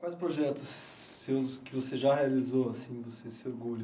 Quais projetos seus que você já realizou, assim, você se orgulha?